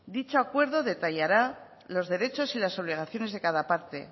dicho acuerdo detallará los derechos y las obligaciones de cada parte